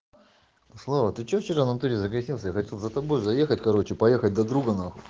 слова ты что вчера натуре загасился я хотел за тобой заехать короче поехать до друга нахуй